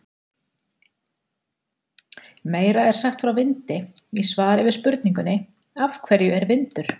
Meira er sagt frá vindi í svari við spurningunni Af hverju er vindur?